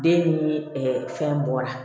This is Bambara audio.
Den ni ɛɛ fɛn bɔra